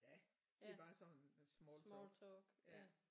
Ja det er bare sådan noget smalltalk ja